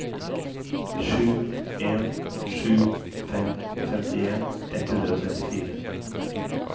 sju en sju fem femtien ett hundre og trettifire